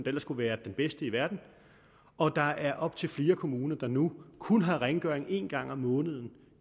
ellers skulle være den bedste i verden og der er op til flere kommuner der nu kun har rengøring en gang om måneden